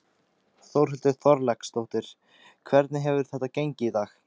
Þórhildur Þorkelsdóttir: Hvernig hefur þetta gengið í dag?